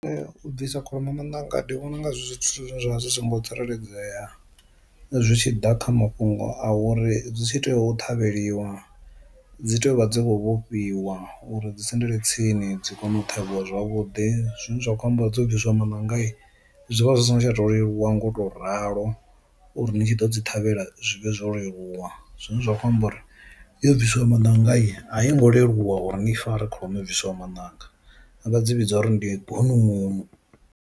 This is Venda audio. U bvisa kholomo mananga ndi vhona unga zwithu zwine zwa vha zwi si ngo tsireledzea, zwi tshi ḓa kha mafhungo a uri zwi tshi tea u ṱhavheliwa dzi tea u vha dzo vhofhiwa uri dzi sendele tsini dzi kone u ṱhavhiwa zwavhuḓi zwine zwa kho amba dzo bviswa maṋanga i zwivha zwi si ngo to leluwa ngo to ralo uri ni tshi ḓo dzi ṱhavhela zwivhe zwo leluwa, zwine zwa khou amba uri yo bvisiwa maṋanga a yi a yi ngo leluwa uri ni fare kholomo bviswa maṋanga a vha dzi vhidza uri ndi bunungunu.